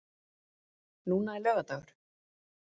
Núna er laugardagur.